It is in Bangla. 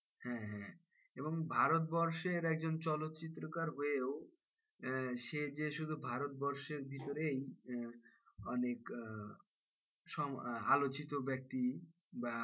হ্যাঁ হ্যাঁ এবং ভারতবর্ষের একজন চলচ্চিত্রকার হয়েও আহ সে যে শুধু ভারতবর্ষের ভিতরেই আহ অনেক আলোচিত ব্যক্তি বা,